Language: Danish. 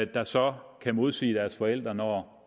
der så kan modsige deres forældre når